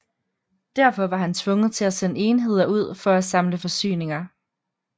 Derfor var han tvunget til at sende enheder ud for at samle forsyninger